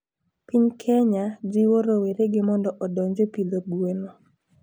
Piny kenya jiwo rowerege mondo odonje pidho gweno